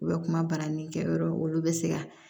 U bɛ kuma balani kɛ yɔrɔ olu bɛ se ka